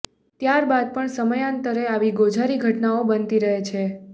ત્યારબાદ પણ સમયાંતરે આવી ગોઝારી ઘટનાઓ બનતી રહી છે